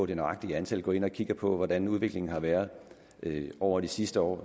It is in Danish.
det nøjagtige antal går ind og kigger på hvordan udviklingen har været over de sidste år